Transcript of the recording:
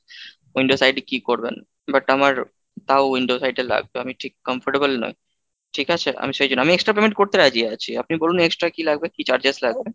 window side এ কি করবেন but আমার তাও window side এ লাগবে, আমি ঠিক comfortable নই ঠিক আছে? আমি সেই জন্য আমি extra payment করতে রাজি আছি আপনি বলুন extra কি লাগবে? কি charges লাগবে? ,